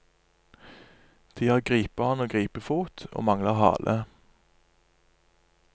De har gripehånd og gripefot, og mangler hale.